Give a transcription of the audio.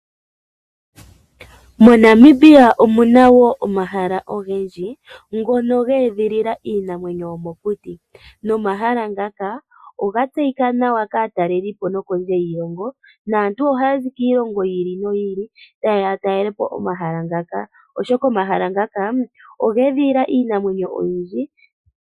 MoNamibia omuna wo omahala ogendji ngono ga edhilila iinamwenyo yo mokuti, no mahala ngaka oga tseyika nawa kaataleli po no kondje yiilongo. Naantu ohaya zi kiilongo yi ili noyi ili ta yeya ya talelepo omahala ngaka. Oshoka omahala ngaka oga edhilila iinamwenyo oyindji.